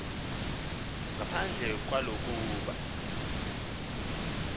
ngaphandle kwalo kuba